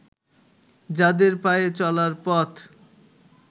যাদের পায়ে চলার পথ